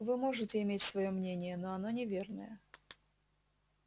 вы можете иметь своё мнение но оно неверное